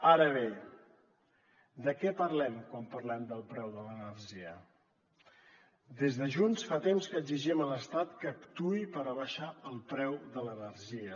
ara bé de què parlem quan parlem del preu de l’energia des de junts fa temps que exigim a l’estat que actuï per abaixar el preu de l’energia